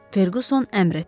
Ferquson əmr etdi.